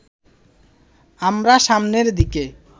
আমরা সামনের দিকে